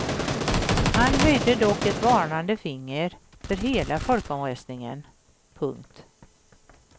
Han höjde dock ett varnande finger för hela folkomröstningen. punkt